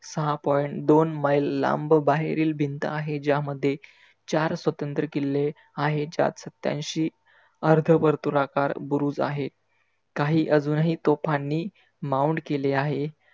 सहा point दोन मैल लांब बाहेरील भिंत आहे. ज्यामध्ये चार स्वतंत्र किल्ले आहेत. चार सत्त्याऐंशी अर्ध वर्तुळाकार बुरूज आहे. काही अजूनही तोफांनी mount केले आहे.